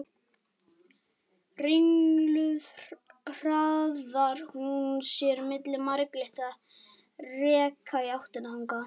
Ringluð hraðar hún sér milli marglitra rekka í áttina þangað.